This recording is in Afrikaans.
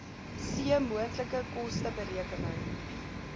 c moontlike kosteberekening